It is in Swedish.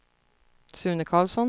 Sune Karlsson